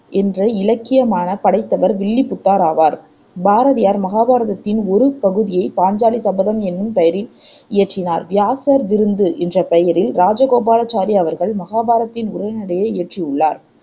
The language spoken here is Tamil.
என்ற இலக்கியமானப் படைத்தவர் வில்லிபுத்தார் ஆவார் பாரதியார் மகாபாரதத்தின் ஒரு பகுதியை பாஞ்சாலி சபதம் என்னும் பெயரில் இயற்றினார் வியாசர் விருந்து என்ற பெயரில் இராசகோபாலாச்சாரி அவர்கள் மகாபாரதத்தின் உரைநடையை இயற்றியுள்ளார்